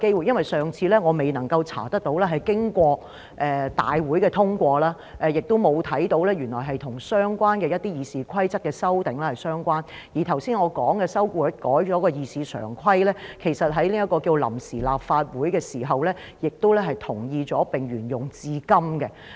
我上次還未查到是經過立法局大會通過，亦沒有看到原來跟一些《議事規則》修訂相關，而我剛才說已修改的《會議常規》，其實在臨時立法會的時候，亦同意並沿用至今。